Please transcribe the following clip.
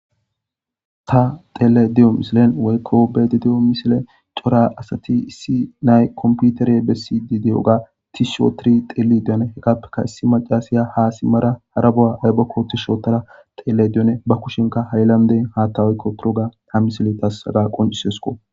Ta xelayida diya misiliyani woyiko beada dewu misileni corra asati issi naa'ayi komipitere besidi dewuga tishi otidi xelidi qasika issi macasiya ha simada hara qofani yibako tishi otada dewus ba kusheni hayilnde hatha oyiqoga ha misileyi qoncisesiko